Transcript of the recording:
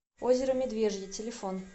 озеро медвежье телефон